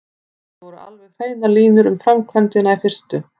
Ekki voru alveg hreinar línur um framkvæmdina í fyrstu.